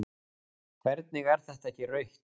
Hvernig er þetta ekki rautt?